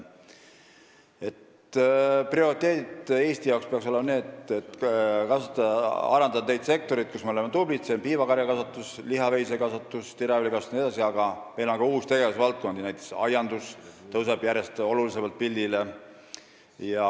Prioriteet Eesti jaoks peaks olema kasvatada ja arendada neid sektoreid, kus me oleme tublid, nagu piimakarjakasvatus, lihaveisekasvatus, teraviljakasvatus jne, aga meil on ka uusi tegevusvaldkondi, näiteks aiandus tõuseb järjest rohkem pildile.